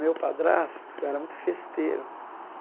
Meu padrasto era muito festeiro.